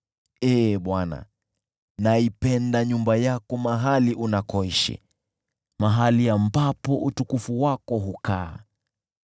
Ee Bwana , naipenda nyumba yako mahali unakoishi, mahali ambapo utukufu wako hukaa.